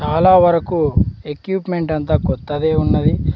చాలా వరకు ఇక్వీప్మెంట్ అంత కొత్తదే ఉన్నది.